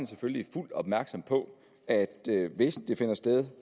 selvfølgelig fuldt opmærksom på at hvis det finder sted